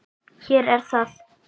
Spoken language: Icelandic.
Hér er það!